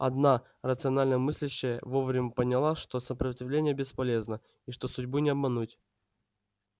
одна рационально мыслящая вовремя поняла что сопротивление бесполезно и что судьбу не обмануть